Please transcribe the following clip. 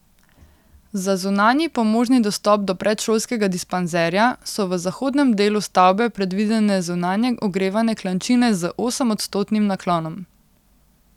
Za zunanji pomožni dostop do predšolskega dispanzerja so v zahodnem delu stavbe predvidene zunanje ogrevane klančine z osemodstotnim naklonom.